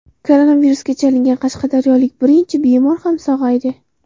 Koronavirusga chalingan qashqadaryolik birinchi bemor ham sog‘aydi.